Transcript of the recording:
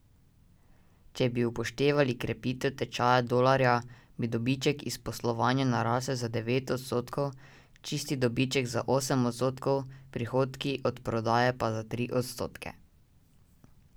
Če bi upoštevali krepitev tečaja dolarja, bi dobiček iz poslovanja narasel za devet odstotkov, čisti dobiček za osem odstotkov, prihodki od prodaje pa za tri odstotke.